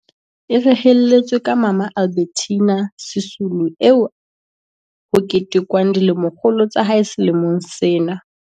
E rehelletswe ka Mama Albe rtina Sisulu eo ho ketekwang dilemokgolo tsa hae sele mong sena.